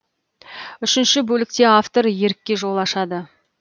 үшінші бөлікте автор ерікке жол ашады